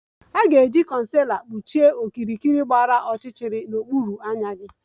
A ga-eji concealer kpuchie okirikiri gbara ọchịchịrị n'okpuru anya gị